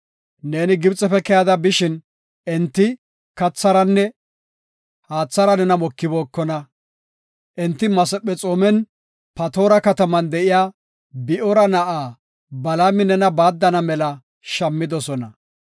Neeni Gibxefe keyada bishin, enti katharanne haathara nena mokibookona. Enti Masephexoomen Patoora kataman de7iya Bi7oora na7aa Balaami nena baaddana mela shammidosona.